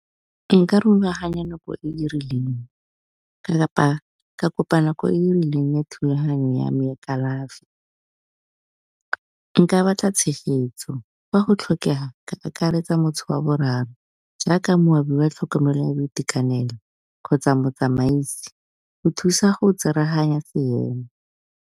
Nka rulaganya nako e e rileng kapa ka kopa nako e rileng le thulaganyo ya me ya kalafi. Nka batla tshegetso fa go tlhokega ka akaretsa wa boraro jaaka moabi oa tlhokomelo ya boitekanelo kgotsa motsamaisi go thusa go tsereganya seemo.